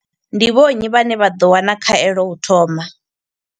Ndi vho nnyi vhane vha ḓo wana khaelo u thoma?